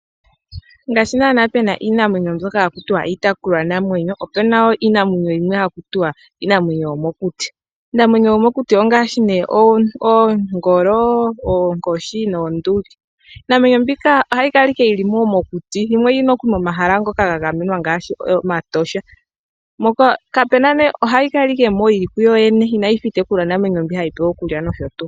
Ngaashi naana pu na iinamwenyo mbyoka haku tiwa iitekulwanamwenyo, opu na wo iinamwenyo yimwe haku tiwa iinamwenyo yomokuti. Iinamwenyo yomokuti ongaashi oongolo, oonkoshi noonduli. Iinamwenyo mbika ohayi kala owala yi li mokuti, yimwe oyi li nokuli momahala ngoka ga gamenwa ngaashi Omatosha. Ohayi kala owala yi li moka yi li kuyo yene inayi fa iitekulwanamwenyo mbi hayi pewa okulya nosho tuu.